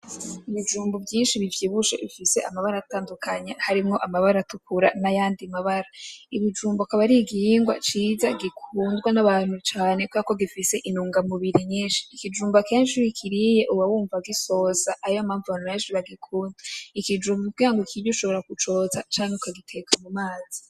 Ibijumbu vyinshi bivyibushe bifise amabara atandukanye, harimwo amabara atukura n'ayandi mabara, ikijumbu akaba arigihingwa ciza gikunzwe n'abantu cane kubera ko gifise intunga mubiri nyinshi, ikijumba kenshi iyo ukiriye uba wumva gisosa ariyo mpavu abantu benshi bagikunda, ikijumbu kubera ukirye ushobora kucotsa canke ukagiteka mumazi.